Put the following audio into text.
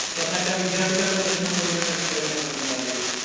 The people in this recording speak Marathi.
स्वतःच्या विद्यापीठाचा प्रश्न सोडवण्यासाठी प्रयत्न करण्यात आले.